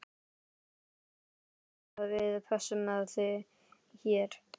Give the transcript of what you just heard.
Númer tvö er að við pössum þig hér.